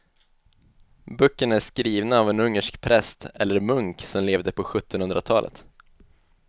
Böckerna är skrivna av en ungersk präst eller munk som levde på sjuttonhundratalet.